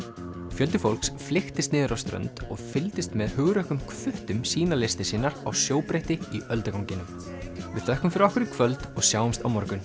fjöldi fólks flykktist niður á strönd og fylgdist með hugrökkum sýna listir sínar á í ölduganginum við þökkum fyrir okkur í kvöld og sjáumst á morgun